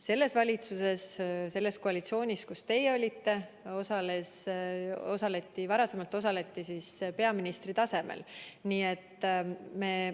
Selles valitsuses, selles koalitsioonis, kus teie olite, osaleti peaministri tasemel.